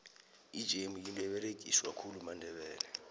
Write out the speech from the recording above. ijemu yinto eberegiswa khulu mandebele